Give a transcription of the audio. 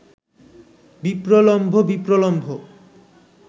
বিপ্রলম্ভ বিপ্রলম্ভ